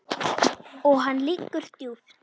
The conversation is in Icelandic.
Og hann liggur djúpt